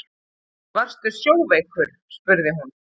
Varstu sjóveikur, spurði hún.